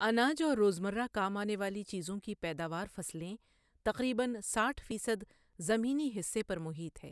اناج اور روزمرہ کام آنے والی چیزوں کی پیداوار فصلیں تقریباً ساٹھ فیصد زمینی حصے پر محیط ہے۔